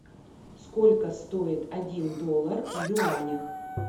сколько стоит один доллар в юанях